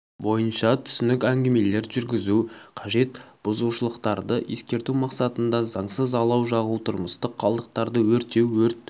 бойынша түсінік әңгімелер жүргізу қажет бұзушылықтарды ескерту мақсатында заңсыз алау жағу тұрмыстық қалдықтарды өртеу өрт